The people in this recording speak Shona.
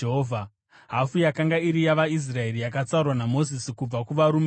Hafu yakanga iri yavaIsraeri, yakatsaurwa naMozisi kubva kuvarume vehondo,